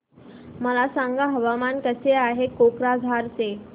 मला सांगा हवामान कसे आहे कोक्राझार चे